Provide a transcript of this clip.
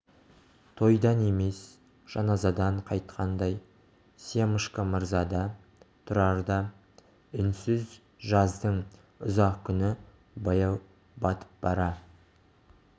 тойдан емес жаназадан қайтқандай семашко мырза да тұрар да үнсіз жаздың ұзақ күні баяу батып бара